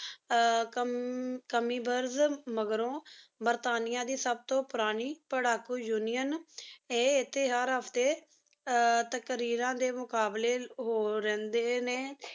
ਆਯ ਕੈਮਿਬੋਰਜ਼ ਮਾਘ੍ਰੋ ਬਰਤਾਨੀਆ ਦੇ ਸਬ ਤੋ ਪੁਰਾਨੀ ਪਾਰ੍ਹਾਕੋ union ਆਯ ਇਥੀ ਹਰ ਹਾਫ੍ਟੀ ਆਯ ਤਕ਼ਰੀਰਾਂ ਦੇ ਮੁਕ਼ਾਬ੍ਲ੍ਯ ਹੋ ਰੇਹ੍ਨ੍ਡੇ ਨੀ